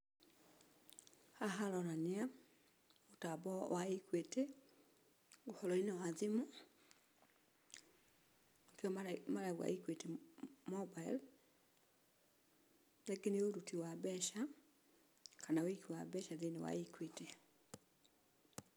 Haha haronania mũtambo wa Equity ũhoro-inĩ wa thimũ nĩkĩo marauga Equity Mobile , rĩngĩ nĩ ũruti wa mbeca kana wĩigi wa mbeca thĩiniĩ wa Equity.